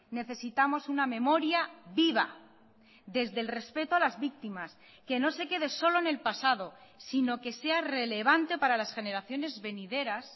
necesitamos una memoria viva desde el respeto a las víctimas que no se quede solo en el pasado sino que sea relevante para las generaciones venideras